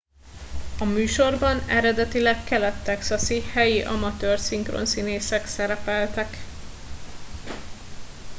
a műsorban eredetileg kelet texasi helyi amatőr szinkronszínészek szerepeltek